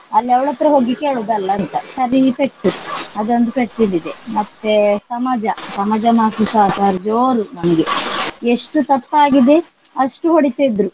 ಅಲ್ಲಿ ಅವಳತ್ರ ಹೋಗಿ ಕೇಳುದಲ್ಲಾ ಅಂತ ಸರ್ರಿ ಪೆಟ್ಟು ಅದೊಂದು ಪೆಟ್ಟು ಬಿದ್ದಿದೆ. ಮತ್ತೆ ಸಮಾಜ ಸಮಾಜ ಮಾಷ್ಟ್ರರು ಸ ಜೋರು ನಮ್ಗೆ. ಎಷ್ಟು ತಪ್ಪಾಗಿದೆ ಅಷ್ಟು ಹೊಡಿತಿದ್ರು.